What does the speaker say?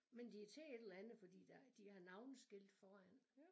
Men de er til et eller andet fordi der de har navneskilte foran